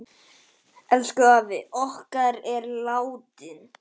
Elsku afi okkar er látinn.